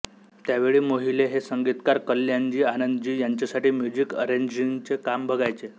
त्यावेळी मोहिले हे संगीतकार कल्याणजीआनंदजी यांच्यासाठी म्युझिक अरेंजिंगचे काम बघायचे